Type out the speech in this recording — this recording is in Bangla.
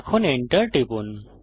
এখন Enter টিপুন